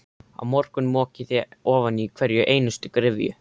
Á morgun mokið þið ofan í hverja einustu gryfju.